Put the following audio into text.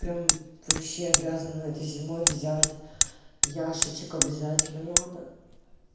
прям вообще обязана этой зимой взять ящичек обязательно надо